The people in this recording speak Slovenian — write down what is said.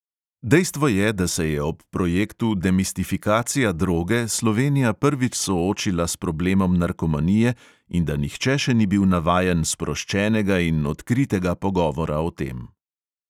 Dejstvo je, da se je ob projektu demistifikacija droge slovenija prvič soočila s problemom narkomanije in da nihče še ni bil navajen sproščenega in odkritega pogovora o tem.